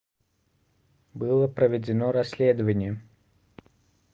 было проведено расследование